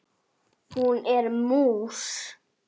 Hún er mús.